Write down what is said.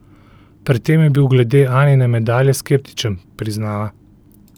Pred tem je bil glede Anine medalje skeptičen, priznava.